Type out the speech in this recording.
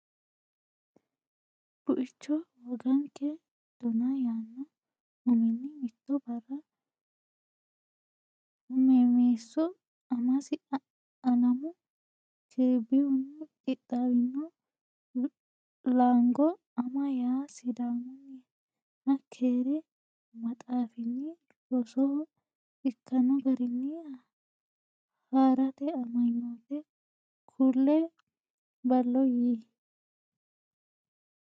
Buicho Woganke Dona yaanno uminni Mitto barra Huummeesso amasi Alamu Kiribihunni qixxaawino Laango Ama ya Sidaamunniha keere maxaafinni rosoho ikkanno garinni haa rate amanyoote kulie ballo yii !